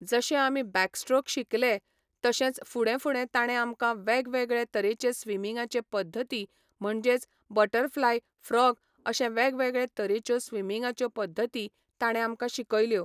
जशे आमी backstroke शिकलें तशेंच फुडें फुडें ताणें आमकां वेगवेगळे तरेचे स्विमींगाचे पद्दती म्हणजेच बटरफ्लाय फ्रॉग अशें वेगवेगळे तरेच्यो स्विमींगाच्यो पद्दती ताणें आमकां शिकयल्यो.